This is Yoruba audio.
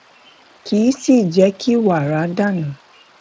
kì í sì í jé kí wàrà dà nù